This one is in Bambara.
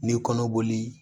Ni kɔnɔboli